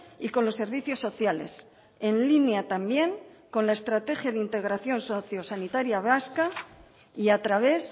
y con los servicios sociales en línea también con la estrategia de integración sociosanitaria vasca y a través